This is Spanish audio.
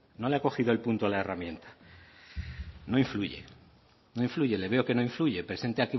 no le ha cogido el punto a la herramienta no influye no influye le veo que no influye presenta